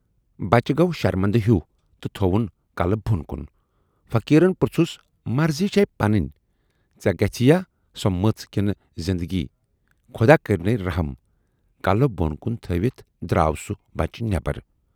بچہٕ گَو شرمندٕ ہیوٗ تہٕ تھَوُن کلہٕ بۅن کُن۔ فقیٖرن پرژھُس مرضی چھےَ پنٕنۍ، ژے گژھِ یا سۅ مٔژ کِنہٕ زِندگی خۅدا کٔرۍنے رٔحم! کلہٕ بۅن کُن تھٔوِتھ دراو سُہ بچہِ نٮ۪بر۔